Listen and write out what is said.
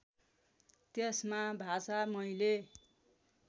त्यसमा भाषा मैले